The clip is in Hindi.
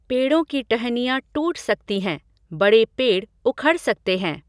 पेड़ों की टहनियाँ टूट सकती हैं, बड़े पेड़ उखड़ सकते हैं।